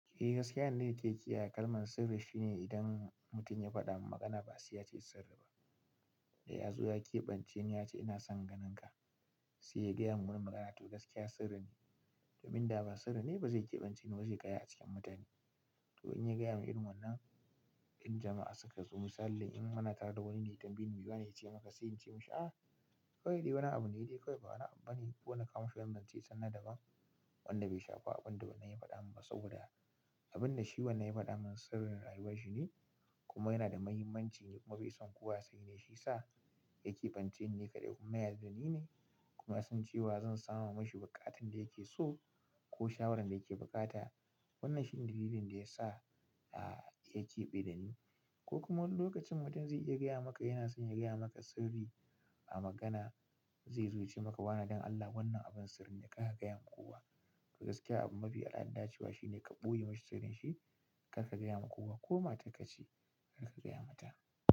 Eh gaskiya ne yanda nake kiyaye kalmar sirri shine idan mutum ya faɗa man magana ba sai ya ce sirri ba. Da ya zo yazo ya ƙeɓance ni ya ce ina son ganinka, sai ya gaya mun wani magana to gaskiya sirri ne. Domin da ba sirri ne ba zai ƙaɓance ni ba zai gaya a cikin mutane. To in gayaman irin wannan in jama'a sukazo misali in muna tare da wani ne in ya tambaye ni mi wane yace maka sai in ce mashi ah kawai dai wani abune ba wani abu bane, sai in kawo mashi wani zance na wani abu daban. Wanda bai shafa abinda wannan ya faɗa mani ba, saboda abinda wancan ya faɗa mani sirrin rayuwarshi ne. Kuma yana da mahimmanci kuma bai san kowa sai ne shi sa ya keɓanceni. Ni kaɗai kuma ya yarda da ni ne kuma yasan cewa zan sama mashi buƙatan da yake so ko shawarar da yake buƙata. Wannan shine dalilin da ya sa ya keɓe da ni ko kuma wani lokacin mutum zai iya gaya maka yana son ya gaya maka sirri a magana zai zo ya ce maka wane don Allah wannan abun sirri ne kar ka gayawa kowa. Gaskiya abu mafi al'ada cewa shine ka ɓoye mashi sirrin shi kar ka gaya ma kowa ko matarka ce kar ka gaya mata.